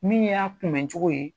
Min y'a kun bɛ cogo ye.